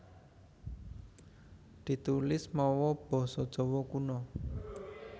Ditulis mawa basa Jawa Kuna